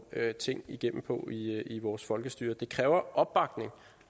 ting igennem på i vores folkestyre det kræver opbakning